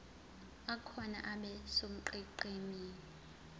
akhona abe sonqenqemeni